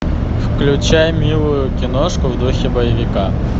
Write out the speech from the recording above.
включай милую киношку в духе боевика